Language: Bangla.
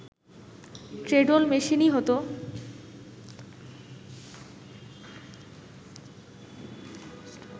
ট্রেডল মেশিনেই হতো